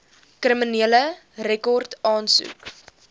kriminele rekord aansoek